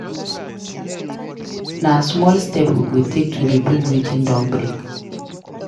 Na small steps we go take to rebuild wetin don break.